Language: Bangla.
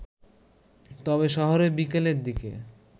তবে শহরে বিকেলের দিকে